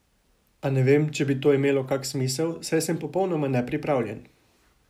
A ne vem, če bi to imelo kak smisel, saj sem popolnoma nepripravljen.